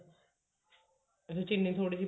ਉਹਦੇ ਚ ਚਿੰਨੀ ਥੋੜੀ